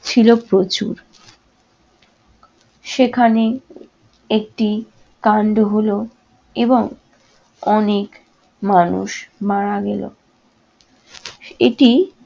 ছিল প্রচুর। সেখানে একটি কান্ড হলো এবং অনেক মানুষ মারা গেলো। এটি